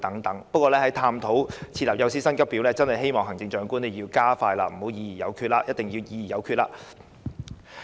不過，在探討設立幼師薪級表方面，希望行政長官要加快進行，必須議而有決。